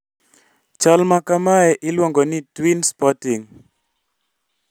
Chal makamae iluongo ni twin spotting